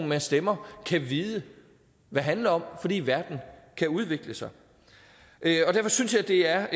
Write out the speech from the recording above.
man stemmer kan vide hvad handler om fordi verden kan udvikle sig derfor synes jeg det er